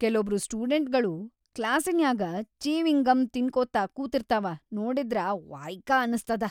ಕೆಲೊಬ್ರು ಸ್ಟುಡೆಂಟ್ಗಳು ಕ್ಲಾಸಿನ್ಯಾಗ ಚೀವಿಂಗಂ ತಿನ್ಕೋತ ಕುತಿರ್ತಾವ ನೋಡಿದ್ರ ವಯ್ಕ ಅನಸ್ತದ.